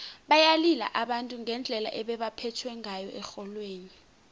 bayalila abantu ngendlela ebebaphethwe ngayo erholweni